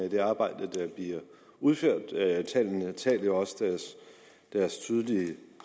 af det arbejde der bliver udført tallene taler jo også deres tydelige